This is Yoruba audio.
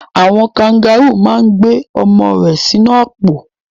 Àwon kangaru ma n gbé ọmọ rẹ sínú àpò